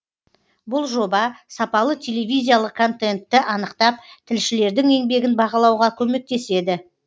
бұл жоба сапалы телевизиялық контентті анықтап тілшілердің еңбегін бағалауға көмектеседі